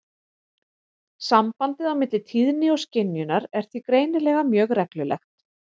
Sambandið á milli tíðni og skynjunar er því greinilega mjög reglulegt.